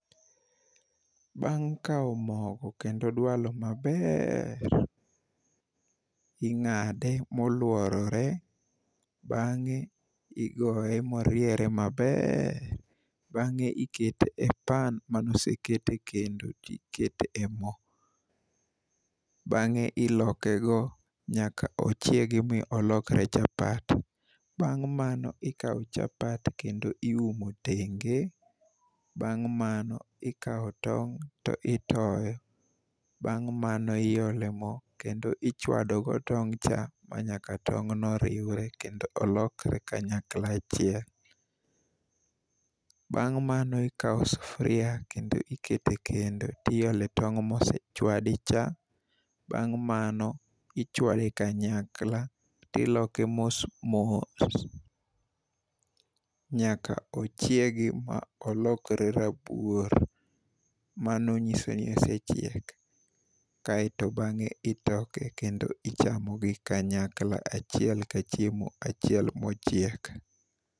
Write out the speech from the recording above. Bang' kawo mogo kendo dwalo maber, ing'ade moluorore ,bang'e igoye moriere maber, bang'e ikete e pan manoseket e kendo tikete e moo . Bang'e iloke go nyaka ochiegi mi olokre chapat, bang' mano ikawo chapat kendo iumo tenge, bang' mano ikawo tong' to itoyo ,bang' mano iole moo kendo ichwafo go tong cha ma nyaka tong no riwre kendo olokre kanyakla achiel . Bang' mano ikawo sufuria kendo ikete kendo tiole tong' mosechwadi cha , bang' mano ichwale kanyakla tiloke mosmos nyaka ochiegi ma olokre rabuor. Mano nyiso ni osechiek kaeto bang'e itoke kendo ichamogi kanyakla achiel ka chiemo achiel mochiek.